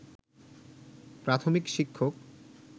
প্রাথমিক শিক্ষক